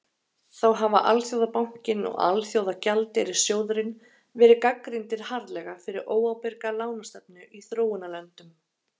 Þá hafa Alþjóðabankinn og Alþjóðagjaldeyrissjóðurinn verið gagnrýndir harðlega fyrir óábyrga lánastefnu í þróunarlöndum.